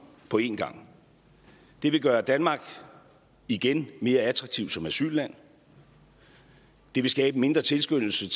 på en gang det vil gøre danmark igen mere attraktivt som asylland det vil skabe mindre tilskyndelse